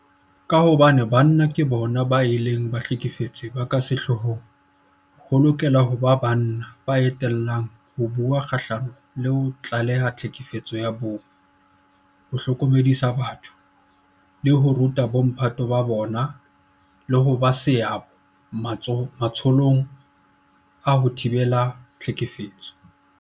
Ka hobane banna ke bona bao e leng bahlekefetsi ba ka sehloohong, ho lokela ho ba banna ba etellang pele ho bua kgahlano le ho tlaleha tlhekefetso ya bong, ho hlokomedisa batho, ho ruta bomphato ba bona le ho ba le seabo matsholong a ho thibela tlhekefetso.